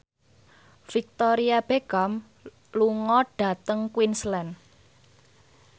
Victoria Beckham lunga dhateng Queensland